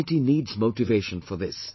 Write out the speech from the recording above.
Society needs motivation for this